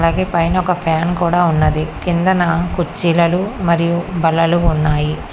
అలాగే పైన ఒక ఫ్యాన్ కూడా ఉన్నది కిందన కుర్చీలలు మరియు బల్లలు ఉన్నాయి.